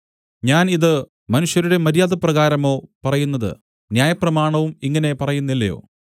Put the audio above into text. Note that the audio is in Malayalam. ഞാൻ ഇത് മനുഷ്യരുടെ മര്യാദപ്രകാരമോ പറയുന്നത് ന്യായപ്രമാണവും ഇങ്ങനെ പറയുന്നില്ലയോ